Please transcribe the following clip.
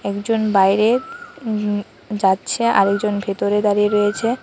একজন বাইরে উম যাচ্ছে আরেকজন ভেতরে দাঁড়িয়ে রয়েছে।